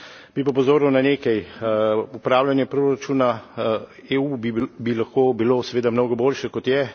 Bi pa opozoril na nekaj upravljanje proračuna EU bi lahko bilo seveda mnogo boljše, kot je.